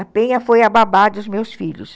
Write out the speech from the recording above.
A Penha foi a babá dos meus filhos.